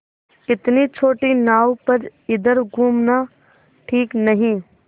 इतनी छोटी नाव पर इधर घूमना ठीक नहीं